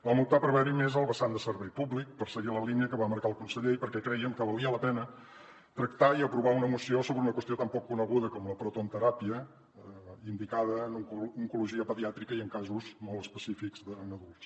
vam optar per veure hi més el vessant de servei públic per seguir la línia que va marcar el conseller perquè crèiem que valia la pena tractar i aprovar una moció sobre una qüestió tan poc coneguda com la protonteràpia indicada en oncologia pediàtrica i en casos molt específics en adults